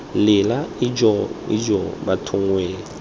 lela ijoo ijoo bathong wee